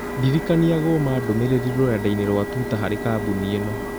ndirikania gũma ndũmĩrĩri rũrenda-inī rũa tũita harĩ kambuni ĩno.